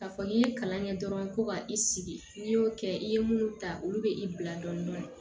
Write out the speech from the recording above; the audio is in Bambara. K'a fɔ n'i ye kalan kɛ dɔrɔn ko ka i sigi n'i y'o kɛ i ye minnu ta olu bɛ i bila dɔɔni dɔɔni